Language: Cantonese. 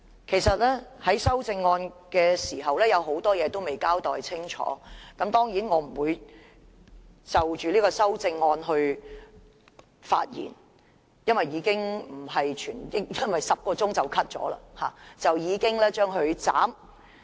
其實政府就修正案的很多事情也未有交代清楚，當然，我不會就修正案發言，因為辯論在10小時後便遭腰斬。